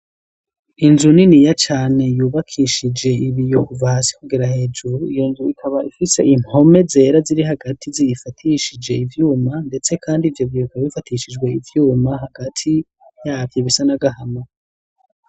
Inzu niniya cane yubakishije ibiyo kuva hasi kugera hejuru. Iyo nzu ikaba ifise impome zera ziri hagati ziyifatishije ivyuma ndetse kandi ivyo biyo bifatishijwe ivyuma hagati yabyo bisanagahama.